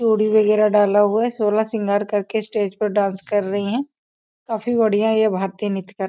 चूड़ी वैगरह डाला हुआ है सोलह श्रृंगार करके स्टेज पर डांस कर रही हैं काफी बढ़िया है ये भारतीय नृत्य कर --